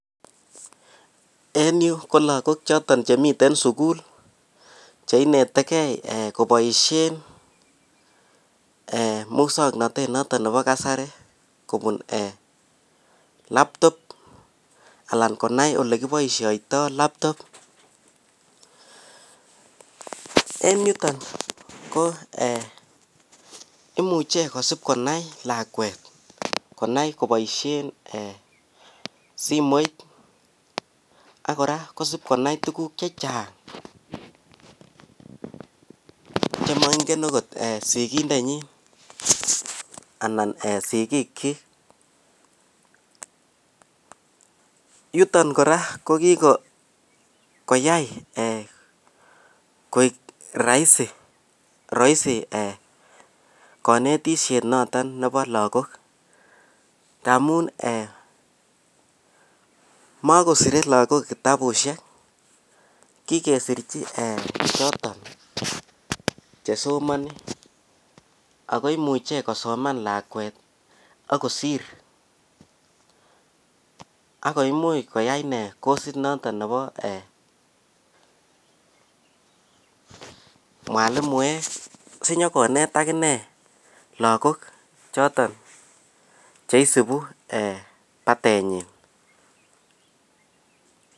en yuu ko lagook choton chemiten suguul cheinetegei eeh koboishen eeh muswoknotet noton nebo kasari kobuun eeh laptop alaan konai elekiboishoitoo laptop, en yuton ko eeh imuche kosiib konai lakweet konai koboishen eeh simoit ak koraa kosiib konai tuguuk chechang chemoingen ogot sigindenyin anan sigiik kyiik, yuton koraa kokigoyai eeh koek raisi roisi eeh konetishet noton nebo lagook, tamuun{um} eeh mokosire lagook tabushek, kigesirchi choton chesomoni ago imuche kosoman lakweet ak kosiir ak koimuch koyai inee kosit noton nebo um eeh mwalimuek sinyakoneet ak inee lagook choton cheisibu batenyiin.